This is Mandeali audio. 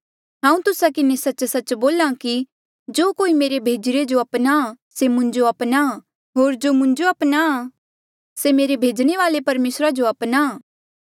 हांऊँ तुस्सा किन्हें सच्च सच्च बोल्हा कि जो कोई मेरे भेजीरे जो अपनाहां से मुंजो अपनाहां होर जो मुंजो अपनाहां से मेरे भेजणे वाले परमेसरा जो अपनाहां